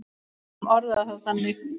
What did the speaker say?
Við skulum orða það þannig.